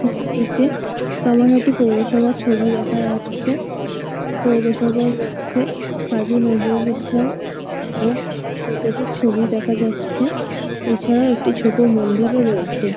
ছবিটিতে কামারহাটি পৌরসভার ছবি দেখা যাচ্ছে পৌরসভার মধ্যে কাজী নজরুল ইসলাম ও নেতাজির ছবি দেখা যাচ্ছে এছাড়াও একটি ছোট মন্দিরও রয়েছে।